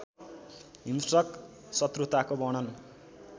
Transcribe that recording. हिंस्रक शत्रुताको वर्णन